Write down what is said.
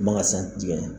Manga san tigɛ